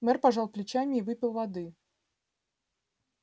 мэр пожал плечами и выпил воды